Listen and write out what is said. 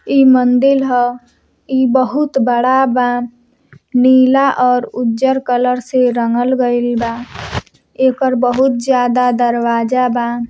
इ मंदील ह इ बहुत बड़ा बा नीला और उज्जर कलर से रंगल गइल बा एकर बहुत ज्यादा दरवाजा बा।